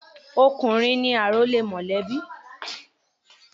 Ọkùnrin ni àrólé mọ̀lẹ́bí.